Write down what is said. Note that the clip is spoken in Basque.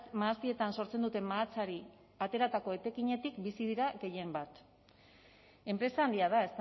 mahastietan sortzen dute mahatsari ateratako etekinetik bizi dira gehienbat enpresa handia da